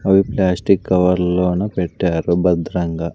అవి ప్లాస్టిక్ కవర్లలోనా పెట్టారు భద్రంగా.